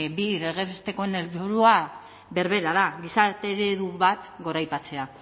bi legez bestekoen helburua berbera da gizarte eredu bat goraipatzea